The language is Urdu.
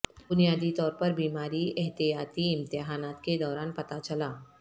بنیادی طور پر بیماری احتیاطی امتحانات کے دوران پتہ چلا